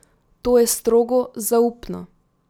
To je strogo zaupno.